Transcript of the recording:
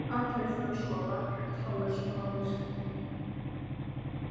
Allir þurfa að sofa, jafnt háir sem lágir.